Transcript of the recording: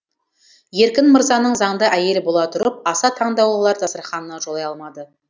еркін мырзаның заңды әйелі бола тұрып аса таңдаулылар дастарханына жолай алмады